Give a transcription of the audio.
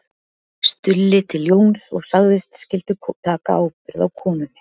Stulli til Jóns og sagðist skyldu taka ábyrgð á konunni